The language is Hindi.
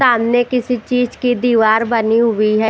सामने किसी चीज की दीवार बनी हुई है।